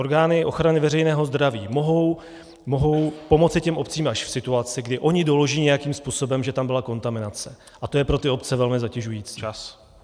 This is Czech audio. Orgány ochrany veřejného zdraví mohou pomoci těm obcím až v situaci, kdy ony doloží nějakým způsobem, že tam byla kontaminace, a to je pro ty obce velmi zatěžující.